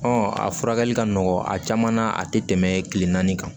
a furakɛli ka nɔgɔn a caman na a tɛ tɛmɛ kile naani kan